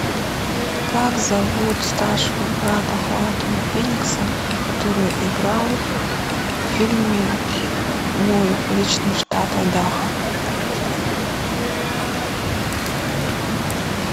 как зовут старшего брата хоакина феникса который играл в фильме мой личный штат айдахо